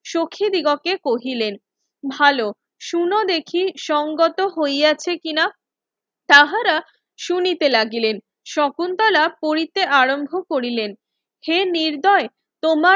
সখি দিগকে কহিলেন ভালো শুনো দেখি সঙ্গত হইয়াছে কিনা তাহারা শুনিতে লাগিলেন শকুন্তলা পড়িতে আরম্ভ করিলেন হে নির্দয় তোমার